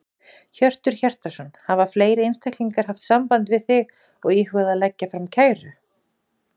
Hjörtur Hjartarson: Hafa fleiri einstaklingar haft samband við þig og íhugað að leggja fram kæru?